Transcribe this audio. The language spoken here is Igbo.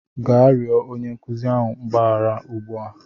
gaa rịọ onye nkuzi ahụ mgbaghara ugbu a!